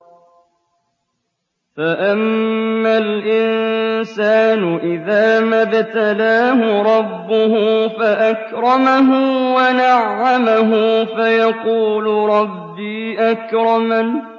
فَأَمَّا الْإِنسَانُ إِذَا مَا ابْتَلَاهُ رَبُّهُ فَأَكْرَمَهُ وَنَعَّمَهُ فَيَقُولُ رَبِّي أَكْرَمَنِ